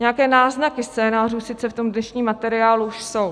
Nějaké náznaky scénářů sice v tom dnešním materiálu už jsou.